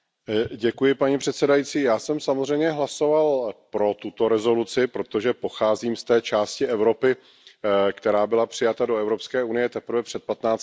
Paní předsedající, já jsem samozřejmě hlasoval pro tuto rezoluci, protože pocházím z té části Evropy, která byla přijata do Evropské unie teprve před patnácti lety.